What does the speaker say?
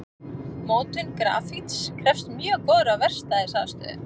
Mótun grafíts krefst mjög góðrar verkstæðisaðstöðu.